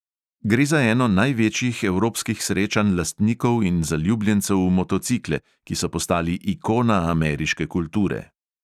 Gre za eno največjih evropskih srečanj lastnikov in zaljubljencev v motocikle, ki so postali ikona ameriške kulture.